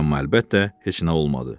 Amma əlbəttə heç nə olmadı.